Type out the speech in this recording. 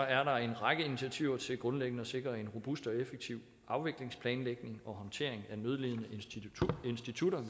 er der en række initiativer til grundlæggende at sikre en robust og effektiv afviklingsplanlægning og håndtering af nødlidende institutter